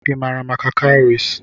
Ị maara maka cowries?